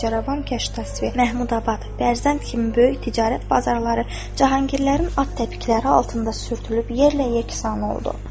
Bacıravan, Keşəvi, Mahmudabad, Bərzənd kimi böyük ticarət bazarları Cahangirlərin at təpikləri altında sürtülüb yerlə yeksan oldu.